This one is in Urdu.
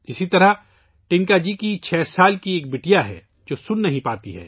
اسی طرح ٹنِکا جی کی ایک چھ سال کی بیٹی ہے ، جو سن نہیں سکتی